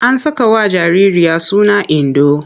An sakawa jaririya suna Indo.